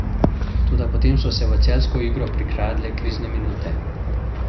Toda potem so se v celjsko igro prikradle krizne minute.